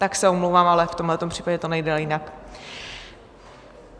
Tak se omlouvám, ale v tomhle případě to nejde jinak.